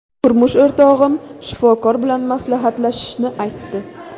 Turmush o‘rtog‘im shifokor bilan maslahatlashishni aytdi.